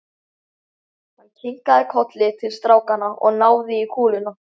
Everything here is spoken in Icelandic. Hann kinkaði kolli til strákanna og náði í kúluna.